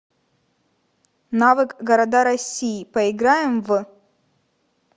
навык города россии поиграем в